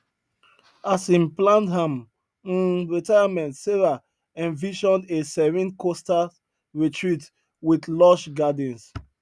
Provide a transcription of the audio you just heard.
as im planned am um retirement sarah envisioned a serene coastal retreat wit lush gardens